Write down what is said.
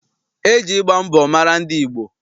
E ji ịgba mbọ mara ndị Igbo.